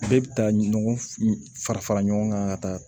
Bɛɛ bɛ taa ɲɔgɔn fara fara ɲɔgɔn kan ka taa